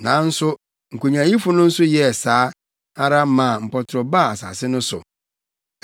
Nanso nkonyaayifo no nso yɛɛ saa ara maa mpɔtorɔ baa asase no so.